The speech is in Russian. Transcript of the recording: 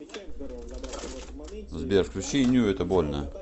сбер включи ню это больно